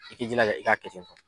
I k'i jilaja i ka kɛ